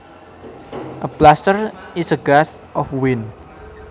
A bluster is a gust of wind